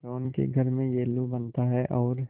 रोहन के घर में येल्लू बनता है और